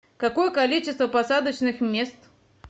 какое количество посадочных мест